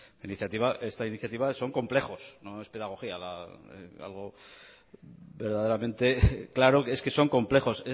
esta iniciativa son complejos no es pedagogía algo verdaderamente claro es que son complejos